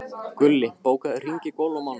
Gulli, bókaðu hring í golf á mánudaginn.